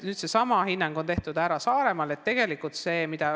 Seesama hinnang on tehtud ära Saaremaal.